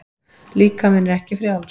Líkaminn er ekki frjáls.